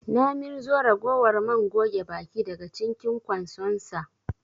Na mirzo ragowar man goge baki daga cinkin ƙwansonsa